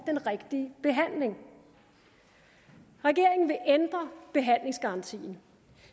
den rigtige behandling regeringen vil ændre behandlingsgarantien